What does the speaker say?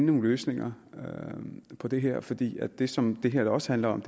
nogle løsninger på det her fordi det som det her også handler om